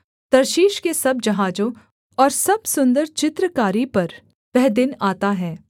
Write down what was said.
Tarshish के सब जहाजों और सब सुन्दर चित्रकारी पर वह दिन आता है